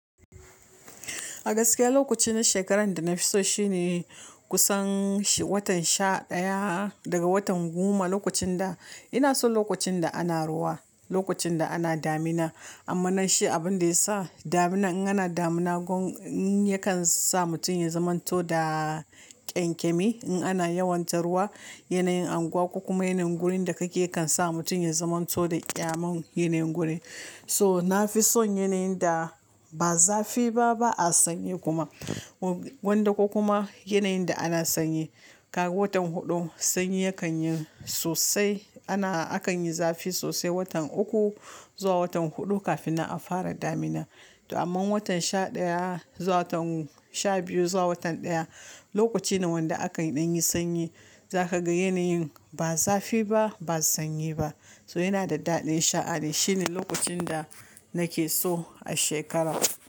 A gaskiya lokaci na shekarar da na fi so shine kusan watan sha ɗaya daga watan goma. Lokacin da ina son lokacin da ana ruwa, lokacin da ana damina. Amma nashi abin da ya sa damina in ana damina gwamm, yakan sa mutum ya zamanto da ƙyankyami in ana yawon ta ruwa. Yanayin anguwa ko kuma yanayin gurin da kake yakan sa mutum ya zamanto da ƙyamam yanayin guri. So na fi son yanayin da ba zafi ba, ba a sanyi kuma. Wanda ko kuma yanayin da ana sanyi. Kaga watan huɗu sanyi yakan yi sosai. Ana, akan yi zafi sosai watan uku zuwa watan huɗu kafin a fara damina. Amma watan sha ɗaya zuwa watan sha biyu zuwa watan ɗaya lokaci ne wanda aka yi ɗan yin sanyi. Za ka ga yanayin ba zafi ba, ba sanyi ba. So yana da daɗin sha'ani. Shine lokacin da nake so a shekara.